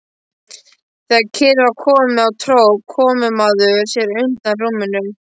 Þegar kyrrð var komin á tróð komumaður sér undan rúminu.